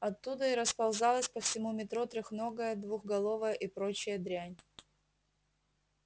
оттуда и расползалась по всему метро трехногая двухголовая и прочая дрянь